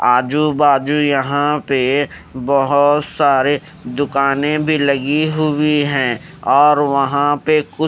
आजू बाजू यहां पे बहोत सारे दुकानें भी लगी हुई है और वहां पे कु--